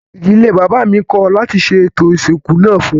Ìdílé bàbá mi kọ̀ láti ṣe ètò ìsìnkú náà fún un